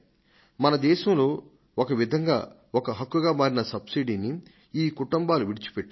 మన దేశంలో ఒక విధంగా ఒక హక్కుగా మారిన సబ్సిడీని ఈ కుటుంబాలు విడిచిపెట్టాయి